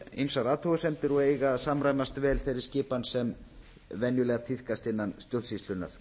ýmsar athugasemdir og eiga að samræmast vel þeirri skipan sem venjulega tíðkast innan stjórnsýslunnar